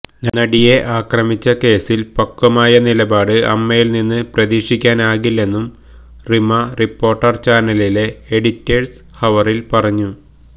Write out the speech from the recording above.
നടിയെ ആക്രമിച്ച കേസില് പക്വമായ നിലപാട് അമ്മയില് നിന്ന് പ്രതീക്ഷിക്കാനാകില്ലെന്നും റിമ റിപ്പോര്ട്ടര് ചാനലിലെ എഡിറ്റേഴ്സ് ഹവറില് പറഞ്ഞു